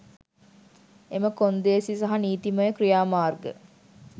එම කොන්දේසි සහ නීතිමය ක්‍රියාමාර්ග